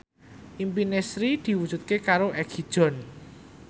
impine Sri diwujudke karo Egi John